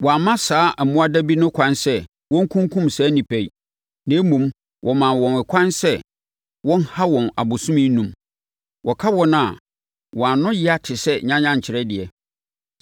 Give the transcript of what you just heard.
Wɔamma saa mmoadabi no ɛkwan sɛ wɔnkunkum saa nnipa yi. Na mmom, wɔmaa wɔn ɛkwan sɛ wɔnha wɔn abosome enum. Wɔka wɔn a, wɔn ano yea no te sɛ nyanyankyerɛ deɛ.